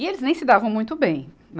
E eles nem se davam muito bem.